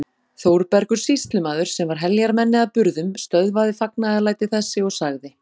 Þórbergur sýslumaður, sem var heljarmenni að burðum, stöðvaði fagnaðarlæti þessi og sagði